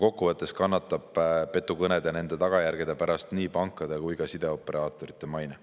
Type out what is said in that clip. Kokkuvõttes kannatab petukõnede ja nende tagajärgede pärast nii pankade kui ka sideoperaatorite maine.